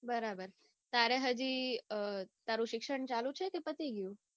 બરાબર તારે હાજી તારું શિક્ષણ ચાલુ છે કે પતિ ગયું?